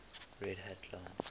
red hat linux